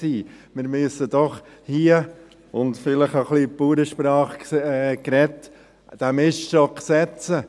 Wir müssen doch hier, und vielleicht ein bisschen in Bauernsprache gesprochen, den Miststock setzen.